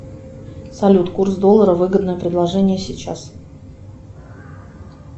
салют курс доллара выгодное предложение сейчас